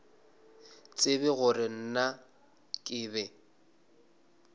tsebe gore na ke be